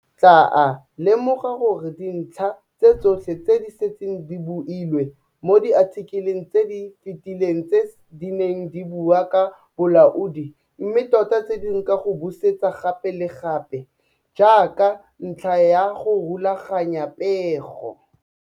Tlaa lemoga gore dintlha tse tsotlhe tse di setse di builwe mo diathikeleng tse di fetileng tse di neng di bua ka bolaodi mme tota tse dingwe ka go busetsa gape le gape, jaaka ntlha ya go rulaganya pego.